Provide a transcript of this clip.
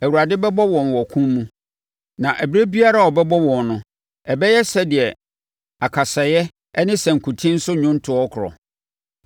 Awurade bɛbɔ wɔn wɔ ɔko mu, na ɛberɛ biara a ɔbɛbɔ wɔn no ɛbɛyɛ sɛdeɛ akasaeɛ ne sankuten so nnwontoɔ korɔ.